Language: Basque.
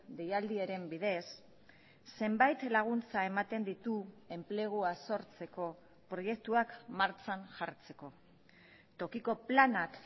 deialdiaren bidez zenbait laguntza ematen ditu enplegua sortzeko proiektuak martxan jartzeko tokiko planak